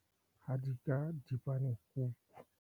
Hadika dipanekuku.